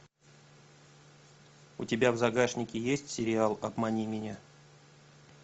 у тебя в загашнике есть сериал обмани меня